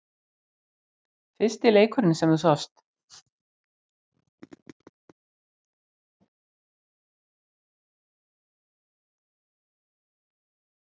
Fyrsti leikurinn sem þú sást?